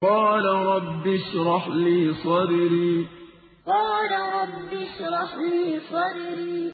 قَالَ رَبِّ اشْرَحْ لِي صَدْرِي قَالَ رَبِّ اشْرَحْ لِي صَدْرِي